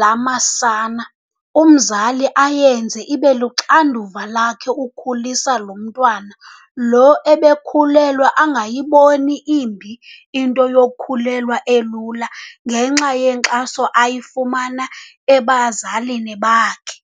lamasana ,umzali ayenze ibeluxanduva lakhe ukukhulisa loo mntwana. Lo ebekhulelwe angayiboni imbi into yokukhulelwa elula ngenxa yenxaso ayifumana ebazalini bakhe.